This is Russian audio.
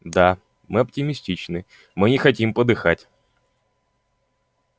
да мы оптимистичны мы не хотим подыхать